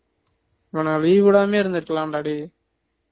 நான் leave விடாமையே இருந்துருக்கலாம் டா டேய்